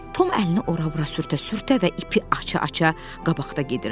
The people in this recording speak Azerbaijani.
Tom əlini ora-bura sürtə-sürtə və ipi aça-aça qabaqda gedirdi.